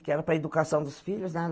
Que era para a educação dos filhos, né?